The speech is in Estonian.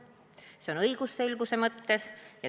See muudatus tehakse õigusselguse mõttes.